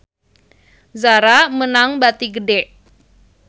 Zara meunang bati gede